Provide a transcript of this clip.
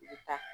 I bɛ taa